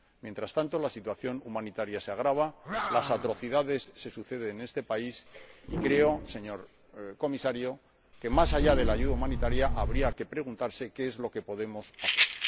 Mientras tanto, la situación humanitaria se agrava, las atrocidades se suceden en este país y creo, señor Comisario, que, más allá de la ayuda humanitaria, habría que preguntarse qué es lo que podemos hacer.